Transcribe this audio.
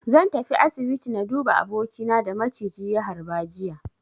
Zan je asibiti na duba abokina da maciji ya harba jiya.